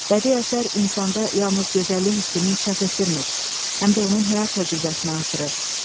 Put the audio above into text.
Bədii əsər insanda yalnız gözəllik hissini inkişaf etdirmir, həm də onun həyat təcrübəsini artırır.